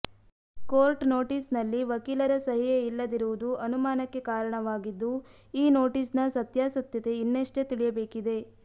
court notice ನಲ್ಲಿ ವಕೀಲರ ಸಹಿಯೇ ಇಲ್ಲದಿರುವುದು ಅನುಮಾನಕ್ಕೆ ಕಾರಣವಾಗಿದ್ದು ಈ ನೋಟಿಸ್ ನ ಸತ್ಯಾಸತ್ಯತೆ ಇನ್ನಷ್ಟೇ ತಿಳಿಯಬೇಕಿದೆ